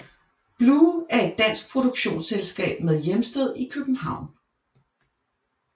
Blu er et dansk produktionsselskab med hjemsted i København